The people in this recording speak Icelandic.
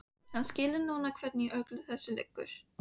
Hann skilur núna hvernig í öllu þessu liggur.